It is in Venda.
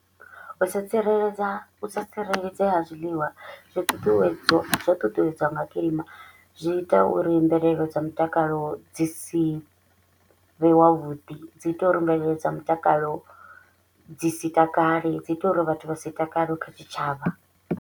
U sa tsireledza u sa tsireledzea ha zwiliwa zwi ṱuṱuwedzo zwo ṱuṱuwedzwa nga kilima, zwi ita uri mvelelo dza mutakalo dzi si vhe wavhuḓi. Dzi ita uri mvelelo dza mutakalo dzi si takale, dzi ita uri vhathu vha si takale kha tshitshavha.